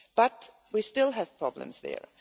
But we still have problems there.